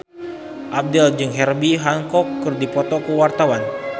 Abdel jeung Herbie Hancock keur dipoto ku wartawan